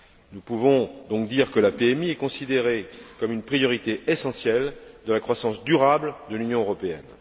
Nous pouvons donc dire que la politique maritime intégrée est considérée comme une priorité essentielle de la croissance durable de l'Union européenne.